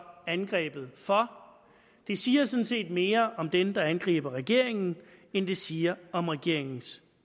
angrebet for det siger sådan set mere om dem der angriber regeringen end det siger om regeringens